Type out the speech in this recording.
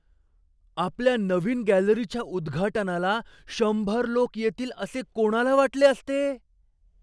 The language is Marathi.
आपल्या नवीन गॅलरीच्या उद्घाटनाला शंभर लोक येतील असे कोणाला वाटले असते?